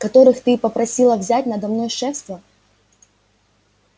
которых ты попросила взять надо мной шефство